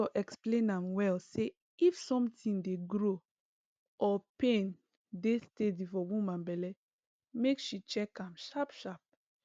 doctor explain am well say if something dey grow or pain dey steady for woman belle make she check am sharp sharp